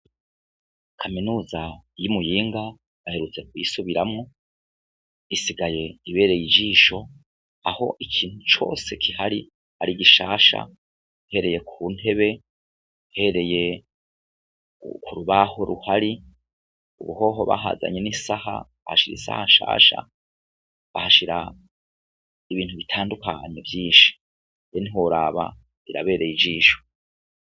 Kaminuza y'imuyinga baherutse kuyisubiramwo isigaye ibereye ijisho aho ikintu cose kihari ari gishasha uhereye ku ntebe uhereye ku rubaho ruhari ubuhoho bahazanye n'isaha bahashira isaha nshasha bahashira ibintu bitandukanye vyinshi ehe ntiworaba birabereye ijisho.